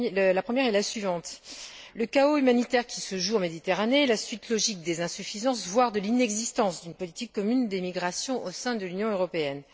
La première est la suivante le chaos humanitaire qui se joue en Méditerranée est la suite logique des insuffisances, voire de l'inexistence, d'une politique commune d'émigration au sein de l'Union européenne.